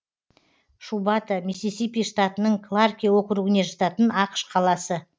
шубата миссисипи штатының кларке округіне жататын ақш қаласы